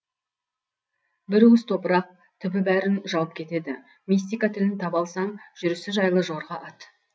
бір уыс топырақ түбі бәрін жауып кетеді мистика тілін таба алсаң жүрісі жайлы жорға ат